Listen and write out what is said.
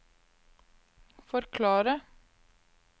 forklare